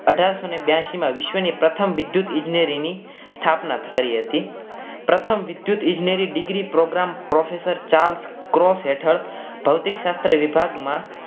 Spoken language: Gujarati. અઢારસો ને બ્યાસી માં વિશ્વ ની પ્રથમ વિદ્યુત ઈજનેરી ની સ્થાપના કરી હતી પ્રથમ વિદ્યુત ઈજનેરી degree program professor Charles gross હેઠળ ભૌતિક શાસ્ત્ર વિભાગમાં